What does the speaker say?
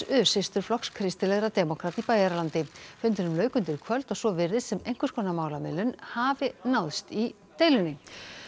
systurflokks kristilegra demókrata í Bæjaralandi fundinum lauk undir kvöld og svo virðist sem einhvers konar málamiðlun hafi náðst í deilunni